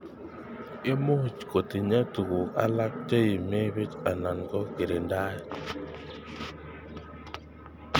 Imuch kotinye tukun alak cheimibich anan ko kirindaet.